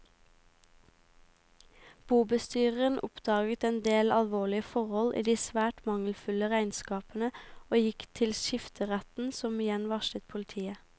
Bobestyreren oppdaget en del alvorlige forhold i de svært mangelfulle regnskapene og gikk til skifteretten som igjen varslet politiet.